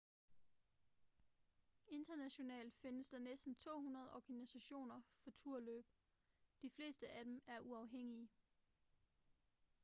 internationalt findes der næsten 200 organisationer for turløb de fleste af dem er uafhængige